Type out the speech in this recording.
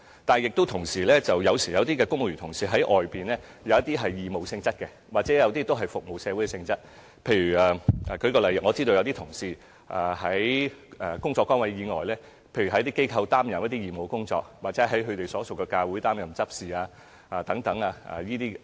但有時候，有些公務員同事在外間的工作是義務或服務社會性質，例如有些同事在工作崗位以外，在某些機構擔任義務工作，或在所屬教會擔任執事等工作。